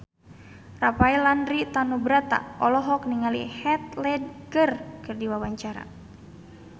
Rafael Landry Tanubrata olohok ningali Heath Ledger keur diwawancara